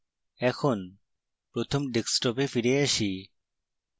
এখন প্রথম ডেস্কটপে ফিরে আসি